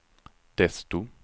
desto